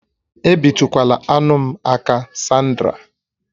Ebitukwala anụ m aka, Sandra!